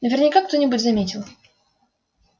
наверняка кто-нибудь заметил